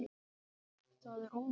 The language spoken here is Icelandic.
Það er óvænt.